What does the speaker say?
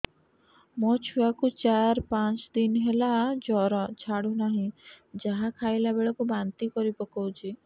ମୋ ଛୁଆ କୁ ଚାର ପାଞ୍ଚ ଦିନ ହେଲା ଜର ଛାଡୁ ନାହିଁ ଯାହା ଖାଇଲା ବେଳକୁ ବାନ୍ତି କରି ପକଉଛି